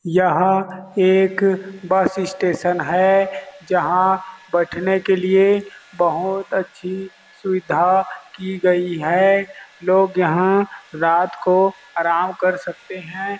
यहाँ एक bus stand station है जहाँ बैठने के लिए बहुत अच्छी सुविधा की गई है लोग यहाँ रात को आराम कर सकते है।